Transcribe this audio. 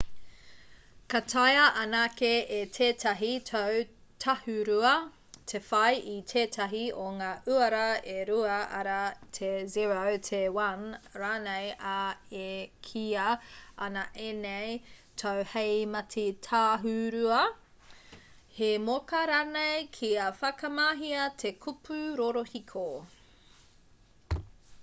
ka taea anake e tētahi tau tāhūrua te whai i tētahi o ngā uara e rua arā te 0 te 1 rānei ā e kīia ana ēnei tau hei mati tāhūrua hei moka ranei kia whakamahia te kupu rorohiko